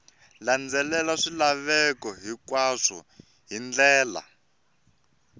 landzelela swilaveko hinkwaswo hi ndlela